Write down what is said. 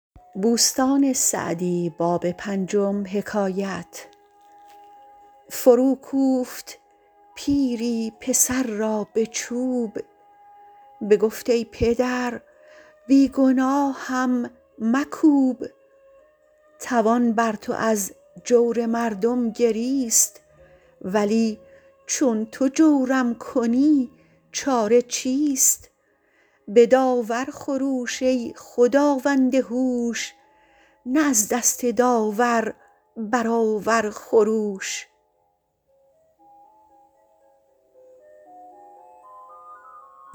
فرو کوفت پیری پسر را به چوب بگفت ای پدر بی گناهم مکوب توان بر تو از جور مردم گریست ولی چون تو جورم کنی چاره چیست به داور خروش ای خداوند هوش نه از دست داور برآور خروش